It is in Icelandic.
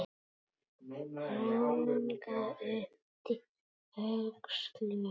Ragnar yppti öxlum.